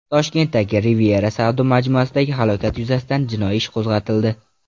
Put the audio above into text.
Toshkentdagi Riviera savdo majmuasidagi halokat yuzasidan jinoiy ish qo‘zg‘atildi.